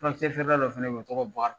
Furakisɛ feere dɔ fɛnɛ bɛ yen , o tɔgɔ bɔkari